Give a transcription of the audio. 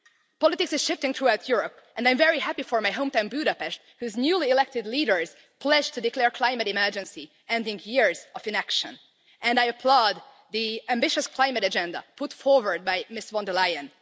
Politics is shifting throughout Europe and I'm very happy for my hometown, Budapest, whose newly elected leaders pledged to declare climate emergency, ending years of inaction, and I applaud the ambitious climate agenda put forward by Ms von der Leyen.